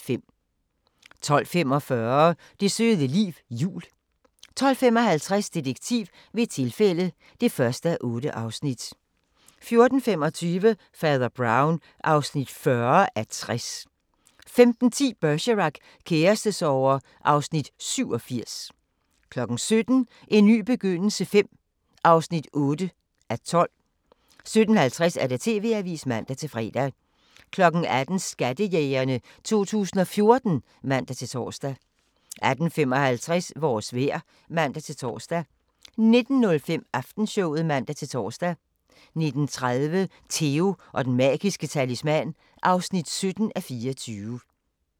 12:45: Det søde liv jul 12:55: Detektiv ved et tilfælde (1:8) 14:25: Fader Brown (40:60) 15:10: Bergerac: Kærestesorger (Afs. 87) 17:00: En ny begyndelse V (8:12) 17:50: TV-avisen (man-fre) 18:00: Skattejægerne 2014 (man-tor) 18:55: Vores vejr (man-tor) 19:05: Aftenshowet (man-tor) 19:30: Theo & Den Magiske Talisman (17:24)